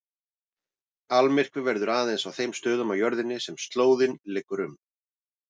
Almyrkvi verður aðeins á þeim stöðum á jörðinni sem slóðin liggur um.